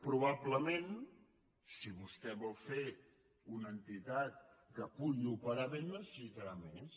probablement si vostè vol fer una entitat que pugui operar bé en necessitarà més